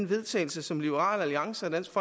vedtagelse som liberal alliance og dansk